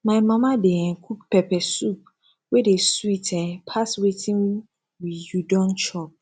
my mama dey um cook pepper soup wey dey sweet um pass wetin we you don chop